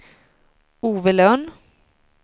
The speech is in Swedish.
Ove Lönn